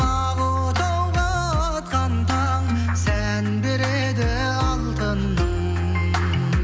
ақ отауға атқан таң сән береді алтыным